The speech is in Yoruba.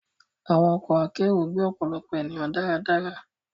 Àwọn ọkọ akero gbé ọpọlọpọ ènìyàn dáradára